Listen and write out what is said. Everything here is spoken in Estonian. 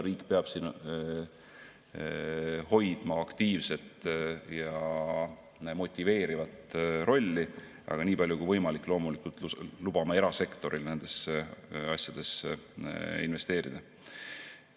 Riik peab hoidma aktiivset ja motiveerivat rolli, aga nii palju kui võimalik loomulikult lubama erasektoril nendesse asjadesse investeerida.